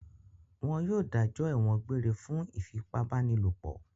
Wọn yóò dájọ́ ẹ̀wọ̀n egbére fún ìfipábánilòpọ̀!